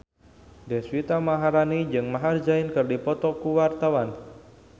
Deswita Maharani jeung Maher Zein keur dipoto ku wartawan